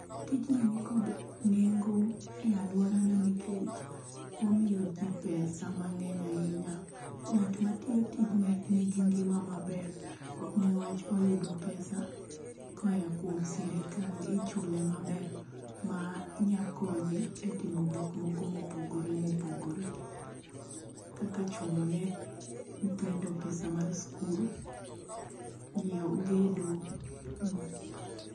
Tijni ni kod nengo e aluora na niwach omiyo ji pesa mangeny ahinya.Ng'at ma tiyo tijni ni gi ngima ma ber nikech oyudo pesa ka oa kuom sirkal ichule ma ber ,ma nya konye e timo gik moko ma opogore ma opogore kaka chule ne nyitthindo mar skul, ngiewo gedo.